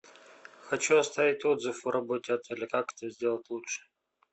хочу оставить отзыв о работе отеля как это сделать лучше